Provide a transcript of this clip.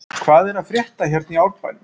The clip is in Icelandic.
Hvað er að frétta hérna í Árbænum?